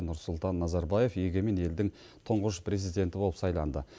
нұрсұлтан назарбаев егемен елдің тұңғыш президенті болып сайланды